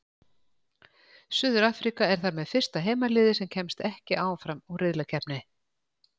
Suður-Afríka er þar með fyrsta heimaliðið sem kemst ekki áfram úr riðlakeppni.